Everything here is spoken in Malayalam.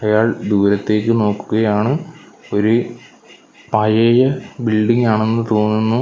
ഒരാൾ ദൂരത്തെക്ക് നോക്കുകയാണ് ഒര് പഴെയ ബിൽഡിങ്ങ് ആണെന്ന് തോന്നുന്നു.